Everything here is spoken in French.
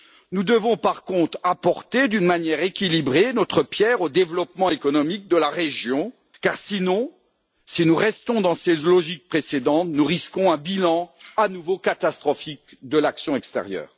Nous devons par contre apporter d'une manière équilibrée notre pierre au développement économique de la région, car sinon, si nous restons dans ces logiques précédentes, nous risquons un bilan à nouveau catastrophique de l'action extérieure.